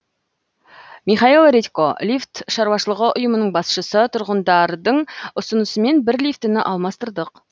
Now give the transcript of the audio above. михаил редько лифт шаруашылығы ұйымының басшысы тұрғындардың ұсынысымен бір лифтіні алмастырдық